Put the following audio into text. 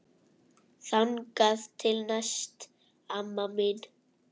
Þangað til næst amma mín.